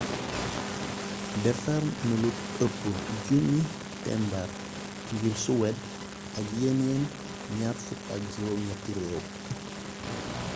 defar nalu ëpp 1000 tembar ngir suwed ak yeneen 28 réew